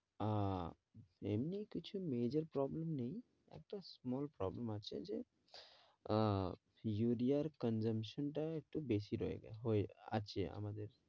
আহ এমনি কিছু major problem নেই small problem আছে যে আহ ইউরিয়ার consumption টা একটু বেশি রয়ে হয়ে আছে আমাদের